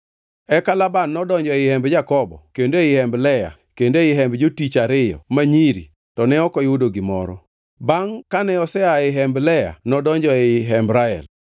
Eka Laban nodonjo ei hemb Jakobo kendo ei hemb Lea kendo ei hemb jotichgi ariyo ma nyiri to ne ok oyudo gimoro. Bangʼ kane osea ei hemb Lea nodonjo ei hemb Rael.